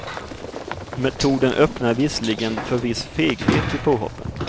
Metoden öppnar visserligen för viss feghet i påhoppen.